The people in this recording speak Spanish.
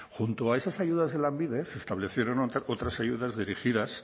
junto a esas ayudas de lanbide se establecieron otras ayudas dirigidas